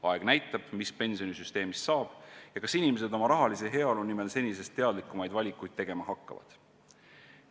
Aeg näitab, mis pensionisüsteemist saab ja kas inimesed oma rahalise heaolu nimel senisest teadlikumaid valikuid tegema hakkavad.